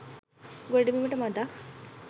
ගොඩබිමට මඳක්